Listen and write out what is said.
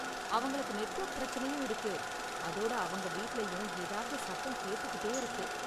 அவங்களுக்கு நெட்வொர்க் பிரச்சனையும் இருக்கு, அதோட அவங்க வீட்லயும் ஏதாவது சத்தம் கேட்டுக்கிட்டே இருக்கு.